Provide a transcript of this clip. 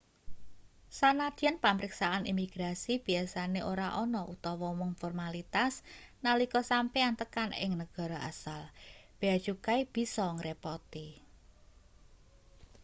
sanadyan pamriksaan imigrasi biasane ora ana utawa mung formalitas nalika sampeyan tekan ing negara asal bea cukai bisa ngrepoti